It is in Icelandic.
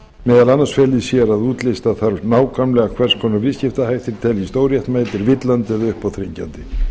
meðal annars fela í sér að útlista þarf nákvæmlega hvers konar viðskiptahættir teljist óréttmætir villandi eða uppáþrengjandi